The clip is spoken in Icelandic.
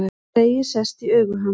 Tregi sest í augu hans.